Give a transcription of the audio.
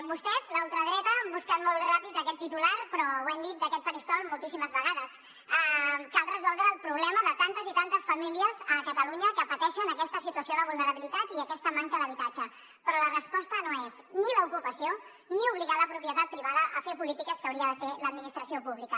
vostès la ultradreta busquen molt ràpid aquest titular però ho hem dit d’aquest faristol moltíssimes vegades cal resoldre el problema de tantes i tantes famílies a catalunya que pateixen aquesta situació de vulnerabilitat i aquesta manca d’habitatge però la resposta no és ni l’ocupació ni obligar la propietat privada a fer polítiques que hauria de fer l’administració pública